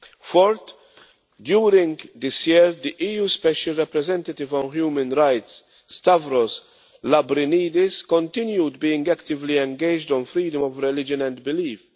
Fourth, during this year, the EU's Special Representative for Human Rights, Stavros Lambrinidis, continued being actively engaged on freedom of religion and belief.